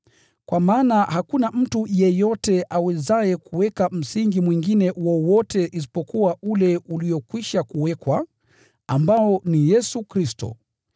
Kwa maana hakuna mtu yeyote awezaye kuweka msingi mwingine wowote isipokuwa ule uliokwisha kuwekwa, ambao ni Yesu Kristo.